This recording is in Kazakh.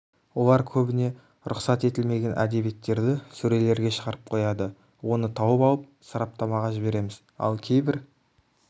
олар көбіне рұқсат етілмеген әдебиеттерді сөрелерге шығарып қояды оны тауып алып сараптамаға жібереміз ал кейбір